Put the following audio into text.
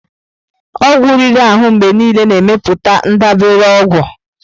Ọgwụ riri ahụ mgbe niile na-emepụta ndabere ọgwụ.